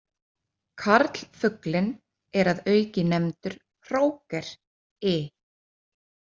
Karlfuglinn er að auki nefndur hróker i.